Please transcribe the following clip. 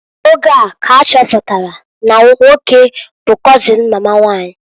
Oge a ka ha chọpụtalụ na na nwoke bu kọzịn mama nwanyị.